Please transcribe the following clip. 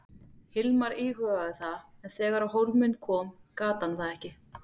Hilmar íhugaði það en þegar á hólminn kom gat hann það ekki.